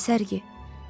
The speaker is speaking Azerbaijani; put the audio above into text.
Nə sərgi?